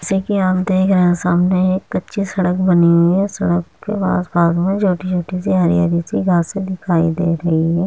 जैसे कि आप देख रहे हैं सामने एक कच्ची सड़क बनी हुई है। सड़क के आस-पास मे छोटी-छोटी हरी हरी सी घासे दिखाई दे रही हैं।